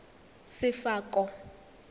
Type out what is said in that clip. sefako